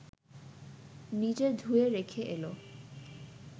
নিজে ধুয়ে রেখে এল